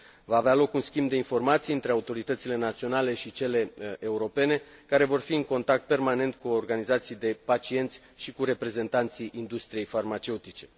Va avea loc un schimb de informații între autoritățile naționale și cele europene, care vor fi în contact permanent cu organizații de pacienți și cu reprezentanții industriei farmaceutice.